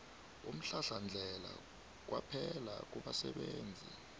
umhlahlandlela kwaphela kubasebenzisi